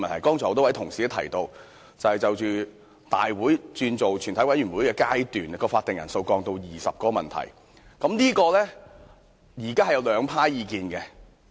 剛才很多同事提到，對於大會轉為全體委員會的階段時將會議法定人數降至20人的修訂，現時有兩派意見。